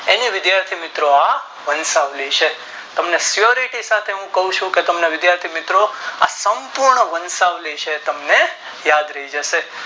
અને વિધાથી મિત્રો આ વષાવની છે તમને સેરથી સાથે ક્વ છું કે તમને વિધાથી મિત્રો આ કંકુ નો વંશાવલી છે તમને યાદરાહી જાશે